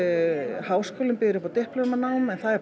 háskólinn býður upp á diplómanám en það er